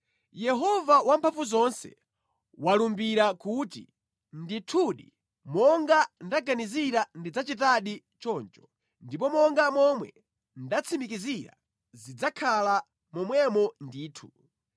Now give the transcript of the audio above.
Yehova Wamphamvuzonse walumbira kuti, “Ndithudi, monga ndaganizira ndidzachitadi choncho, ndipo monga momwe ndatsimikizira zidzakhala momwemo ndithu.